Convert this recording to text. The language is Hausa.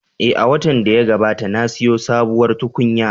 Eh, a watan da ya gabata na siyo sabuwar tukunya